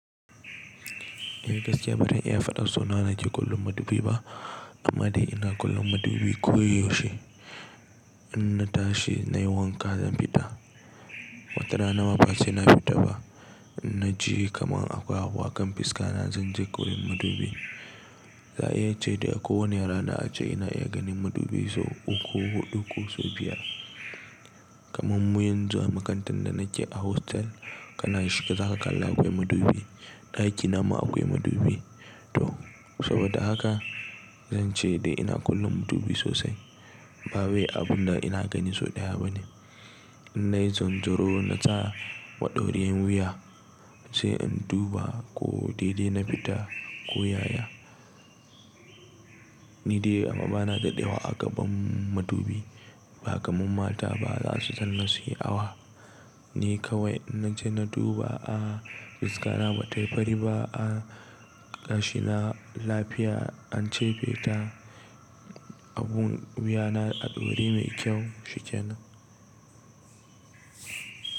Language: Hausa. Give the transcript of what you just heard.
Ni gaskiya ba zan iya faɗar so nawa nace kallon madubi ba amma dai ina kallon madubi koyaushe. In na tashi na yi wanka zan fita, watara na ma ba sai na fita ba. In na ji kaman akwai abu akan fiska na zan je kawai madubi. Za a iya ce da kowani a rana ace ina iya ganin madubi sau uku ko huɗu ko sau biyar. Kaman muyan zuwa makarantar da nake a hostel kana shiga za ka kalla akwai madubi, ɗaki nama akwai madubi. To saboda haka zan ce dai ina kallon madubi sosai, ba wai abun da ina gani sau ɗaya ba ne. In na yi zanzaro na sa waɗori yin wuya, sai in duba ko dai dai na fita ko yaya. Ni dai amma ba na da ɗewa a gaban madubi ba kaman mata ba za su san na su yi awa. Ni kawai na je na duba a fiska na ba tayi fari ba a gashi na lafiya an cefe ta abun wuya na a ɗauri mai kyau shikenan.